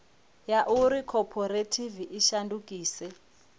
ya uri khophorethivi i shandukise